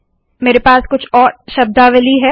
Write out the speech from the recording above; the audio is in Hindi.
मेरे पास कुछ और शब्दावली है